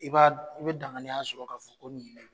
I b"a dɔn i be danganiya sɔrɔ ka fɔ ko nin ye